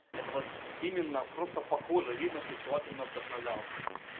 это вот именно просто похоже видно что человек им вдохновлялся